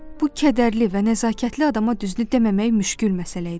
Bu kədərli və nəzakətli adama düzünü deməmək müşkül məsələ idi.